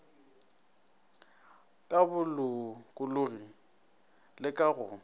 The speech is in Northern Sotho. ka bolokologi le ka go